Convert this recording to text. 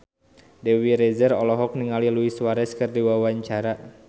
Dewi Rezer olohok ningali Luis Suarez keur diwawancara